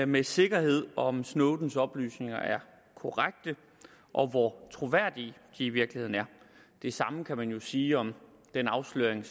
med sikkerhed om snowdens oplysninger er korrekte og hvor troværdige de i virkeligheden er det samme kan man jo sige om den afsløring